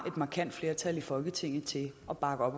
markant flertal i folketinget til at bakke op